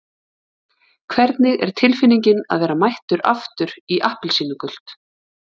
Hvernig er tilfinningin að vera mættur aftur í appelsínugult?